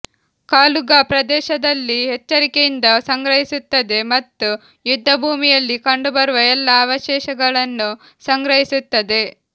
ಕಾಲುಗಾ ಪ್ರದೇಶದಲ್ಲಿ ಎಚ್ಚರಿಕೆಯಿಂದ ಸಂಗ್ರಹಿಸುತ್ತದೆ ಮತ್ತು ಯುದ್ಧಭೂಮಿಯಲ್ಲಿ ಕಂಡುಬರುವ ಎಲ್ಲಾ ಅವಶೇಷಗಳನ್ನು ಸಂಗ್ರಹಿಸುತ್ತದೆ